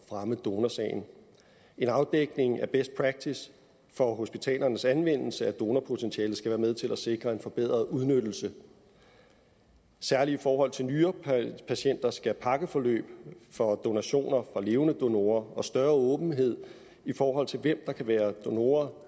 fremme donorsagen en afdækning af best practice for hospitalernes anvendelse af donorpotentialet skal være med til at sikre en forbedret udnyttelse særlig i forhold til nyrepatienter skal pakkeforløb for donationer fra levende donorer og større åbenhed i forhold til hvem der kan være donorer